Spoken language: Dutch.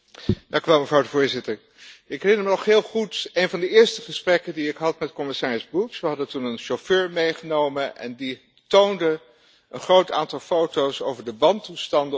Voorzitter, ik herinner me nog heel goed een van de eerste gesprekken die ik had met commissaris Bulc. We hadden toen een chauffeur meegenomen en die toonde een groot aantal foto's over de wantoestanden op de weg.